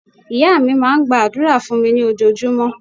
Ìya mi máa n gba àdúrà fún mi ní ojojúmó